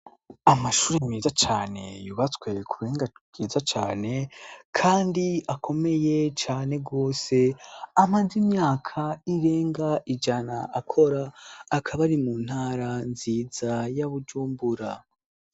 Amashuri miza cane yubatswe ku buhinga byiza cyane kandi akomeye cane gose amaze imyaka irenga ijana akora akaba ari mu ntara nziza ya bujumbura.